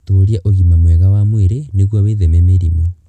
Tũũria ũgima mwega wa mwĩrĩ nĩguo wĩtheme mĩrimũ.